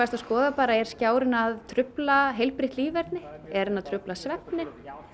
að skoða bara er skjárinn að trufla heilbrigt líferni er hann að trufla svefninn